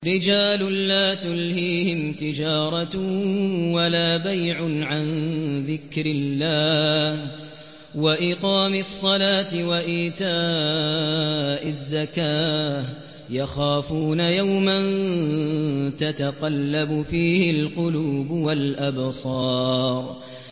رِجَالٌ لَّا تُلْهِيهِمْ تِجَارَةٌ وَلَا بَيْعٌ عَن ذِكْرِ اللَّهِ وَإِقَامِ الصَّلَاةِ وَإِيتَاءِ الزَّكَاةِ ۙ يَخَافُونَ يَوْمًا تَتَقَلَّبُ فِيهِ الْقُلُوبُ وَالْأَبْصَارُ